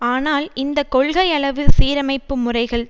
ஆனால் இந்த கொள்கையளவு சீரமைப்பு முறைகள்